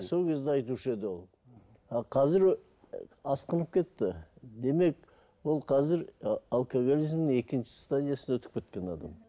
сол кезде айтушы еді ол а қазір асқынып кетті демек ол қазір і алкоголизмнің екінші стадиясына өтіп кеткен адам